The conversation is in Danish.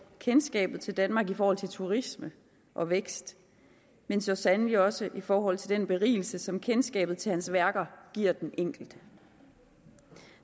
kendskabet til danmark i forhold til turisme og vækst men så sandelig også i forhold til den berigelse som kendskabet til hans værker giver den enkelte